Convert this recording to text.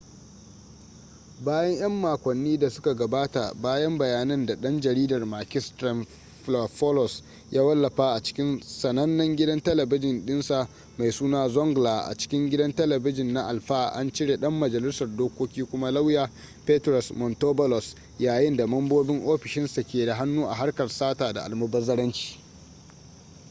bayan 'yan makonnin da suka gabata bayan bayanan da dan jaridar makis triantafylopoulos ya wallafa a cikin sanannen gidan talabijin dinsa mai suna zoungla” a cikin gidan talabijin na alpha an cire dan majalisar dokoki kuma lauya petros mantouvalos yayin da mambobin ofishinsa ke da hannu a harkar sata da almubazzaranci.